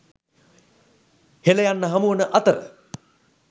‘හෙළ’ යන්න හමු වන අතර